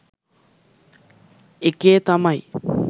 එකේ තමයි.